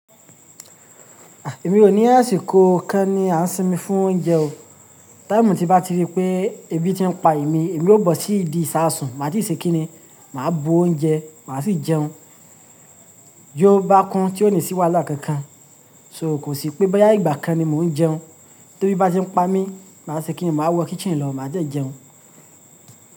Èmi ò ní àsìkò kan ni a ń sinmi fún oúnjẹ o. Táìmù tí n bá ti rí pé ebi ti ń pa èmi, èmi ó bọ̀ sí ìdí ìsásùn, màá si ṣe kínní, màá bu oúnjẹ, màá sì jẹun. Yóò bákun tí ó ní sì wàhala kankan. So kò sí pé boya ìgbà kan ni mò ń jẹun. Ti ebí bá ti ń pa mí, màá ṣe kínní, màá wọ kítchen lọ, màá dẹ jẹun.